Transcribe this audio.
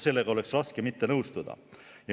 Sellega on raske mitte nõustuda.